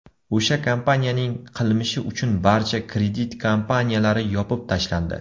O‘sha kompaniyaning qilmishi uchun barcha kredit kompaniyalari yopib tashlandi.